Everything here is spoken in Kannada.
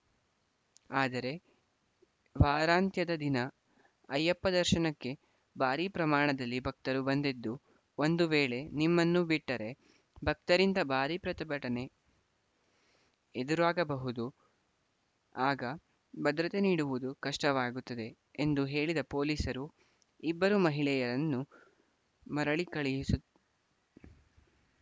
ಆದರೆ ವಾರಾಂತ್ಯದ ದಿನ ಅಯ್ಯಪ್ಪ ದರ್ಶನಕ್ಕೆ ಭಾರೀ ಪ್ರಮಾಣದಲ್ಲಿ ಭಕ್ತರು ಬಂದಿದ್ದು ಒಂದು ವೇಳೆ ನಿಮ್ಮನ್ನು ಬಿಟ್ಟರೆ ಭಕ್ತರಿಂದ ಭಾರೀ ಪ್ರತಿಭಟನೆ ಎದುರಾಗಬಹುದು ಆಗ ಭದ್ರತೆ ನೀಡುವುದು ಕಷ್ಟವಾಗುತ್ತದೆ ಎಂದು ಹೇಳಿದ ಪೊಲೀಸರು ಇಬ್ಬರೂ ಮಹಿಳೆಯರನ್ನು ಮರಳಿ ಕಳುಹಿಸು